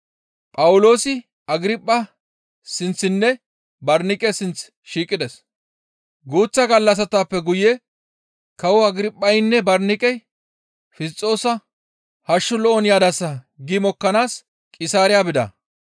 Guuththa gallassatappe guye kawo Agirphaynne Barniqey Fisxoosa, «Hashshu lo7on yadasa» gi mokkanaas Qisaariya bida.